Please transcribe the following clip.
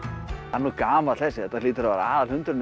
hann gamall þessi þetta hlýtur að vera